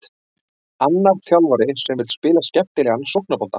Annar þjálfari sem vill spila skemmtilegan sóknarbolta.